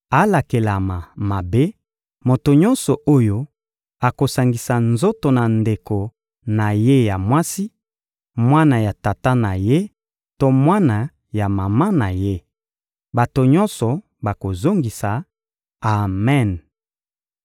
«Alakelama mabe, moto nyonso oyo akosangisa nzoto na ndeko na ye ya mwasi, mwana ya tata na ye to mwana ya mama na ye!» Bato nyonso bakozongisa: «Amen!»